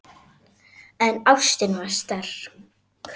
En ástin var sterk.